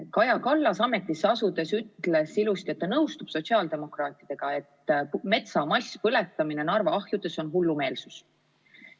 Kaja Kallas ütles ametisse asudes ilusti, et ta nõustub sotsiaaldemokraatidega, et metsa masspõletamine Narva ahjudes on hullumeelsus.